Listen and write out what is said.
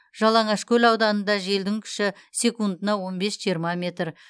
жалаңашкөл ауданында желдің күші секундына он бес жиырма метр